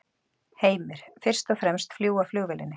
Heimir: Fyrst og fremst að fljúga flugvélinni?